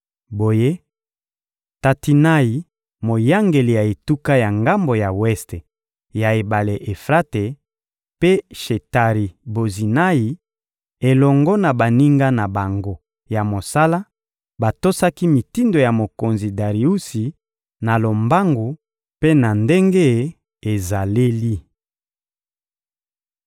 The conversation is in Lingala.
Boye, Tatinayi, moyangeli ya etuka ya ngambo ya weste ya ebale Efrate, mpe Shetari-Bozinayi elongo na baninga na bango ya mosala batosaki mitindo ya mokonzi Dariusi na lombangu mpe na ndenge ezaleli.